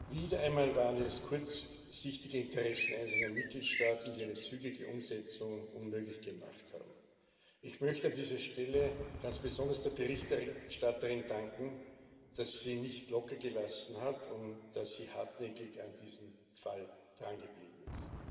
Wieder einmal waren es kurzsichtige Interessen einzelner Mitgliedstaaten, die eine zügige Umsetzung unmöglich gemacht haben. Ich möchte dieser Stelle ganz besonders der Berichterstatterin danken, dass sie nicht lockergelassen hat und dass sie hartnäckig an diesem Fall drangeblieben ist.